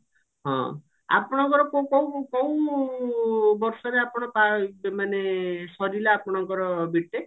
ହଁ ଆପଣଙ୍କର କଉ କଉ ବର୍ଷରେ ଆପଣ ପା ମାନେ ସରିଲା ଆପଣଙ୍କର B.TECH ?